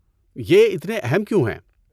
یہ اتنے اہم کیوں ہیں؟